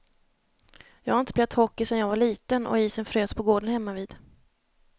Jag har inte spelat hockey sedan jag var liten och isen frös på gården hemmavid.